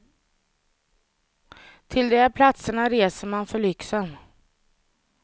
Till de här platserna reser man för lyxen.